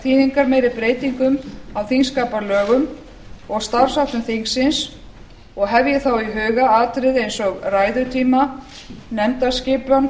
þýðingarmeiri breytingum á þingskapalögum og starfsháttum þingsins og hef ég þá í huga atriði eins og ræðutíma nefndaskipan